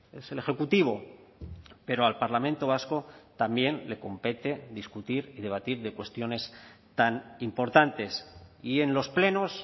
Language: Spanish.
es el ejecutivo pero al parlamento vasco también le compete discutir y debatir de cuestiones tan importantes y en los plenos